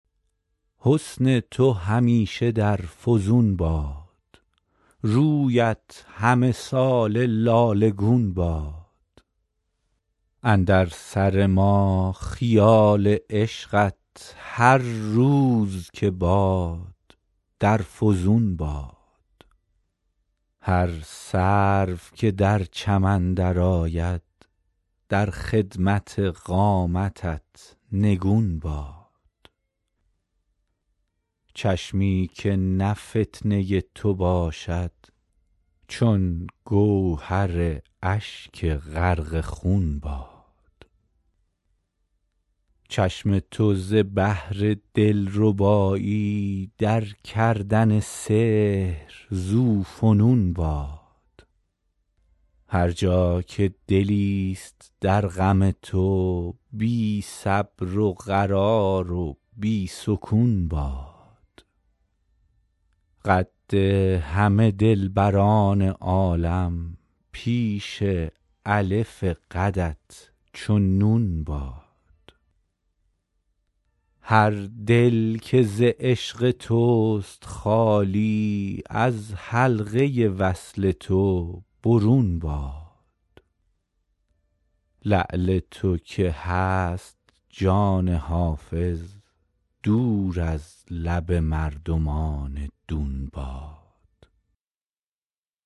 حسن تو همیشه در فزون باد رویت همه ساله لاله گون باد اندر سر ما خیال عشقت هر روز که باد در فزون باد هر سرو که در چمن درآید در خدمت قامتت نگون باد چشمی که نه فتنه تو باشد چون گوهر اشک غرق خون باد چشم تو ز بهر دلربایی در کردن سحر ذوفنون باد هر جا که دلیست در غم تو بی صبر و قرار و بی سکون باد قد همه دلبران عالم پیش الف قدت چو نون باد هر دل که ز عشق توست خالی از حلقه وصل تو برون باد لعل تو که هست جان حافظ دور از لب مردمان دون باد